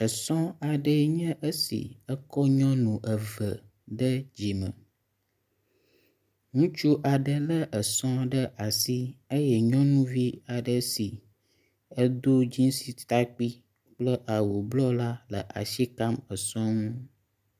Esɔ̃ aɖeɛ nye ésì ekɔ nyɔnu eve ɖe dzime, ŋutsu aɖe le esɔ̃ ɖe asi eyɛ nyɔnuvi aɖe si edo dzinsi takpi kple awu blɔ la le asi kam esɔŋu nɔnyiɖe esɔa dzi eyɛ nyɔŋua ɖeka le sɔa megbe do awu si nye amadede blɔ